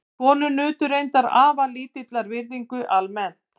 Konur nutu reyndar afar lítillar virðingar almennt.